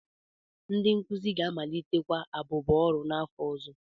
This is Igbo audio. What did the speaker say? Ndị nkuzi ga-amalitekwa abụbọ ọrụ n'afọ ọzọ.